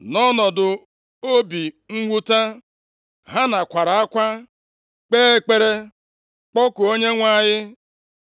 Nʼọnọdụ obi mwute Hana kwara akwa, kpee ekpere, kpọkuo Onyenwe anyị.